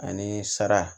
Ani sara